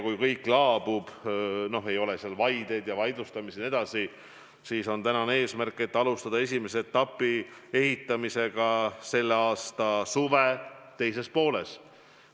Kui kõik laabub – kui ei ole vaideid jms –, siis on eesmärk alustada esimese etapi ehitamist selle suve teises pooles.